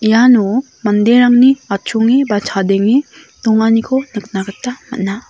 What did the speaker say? iano manderangni achonge ba chadenge donganiko nikna gita man·a.